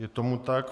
Je tomu tak.